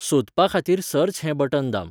सोदपाखातीर 'search' हें बटण दाम.